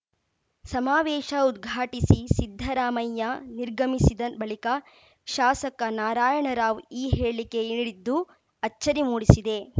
ಸಮಾವೇಶ ಉದ್ಘಾಟಿಸಿ ಸಿದ್ದರಾಮಯ್ಯ ನಿರ್ಗಮಿಸಿದ ಬಳಿಕ ಶಾಸಕ ನಾರಾಯಣರಾವ್‌ ಈ ಹೇಳಿಕೆ ನೀಡಿದ್ದು ಅಚ್ಚರಿ ಮೂಡಿಸಿದೆ